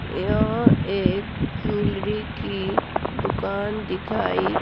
यह एक ज्वेलरी की दुकान दिखाई--